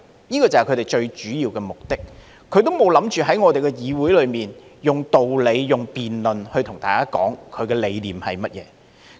這個就是他們最主要的目的，他們並無想過在議會內以道理、辯論，對大家說他的理念是甚麼。